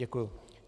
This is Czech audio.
Děkuji.